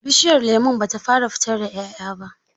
Bishiyar lemon ba ta fara fitar da ƴaƴa ba.